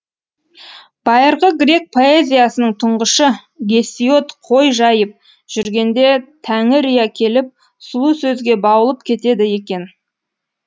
байырғы грек поэзиясының тұңғышы гесиод қой жайып жүргенде тәңірия келіп сұлу сөзге баулып кетеді екен